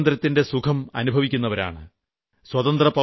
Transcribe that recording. നാം സ്വാതന്ത്ര്യത്തിന്റെ സുഖം അനുഭവിക്കുന്നവരാണ്